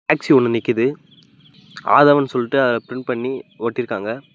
Taxi ஒண்ணு நிக்கிது ஆதவன் சொல்ட்டு பிரின்ட் பண்ணி ஒட்டிருக்காங்க.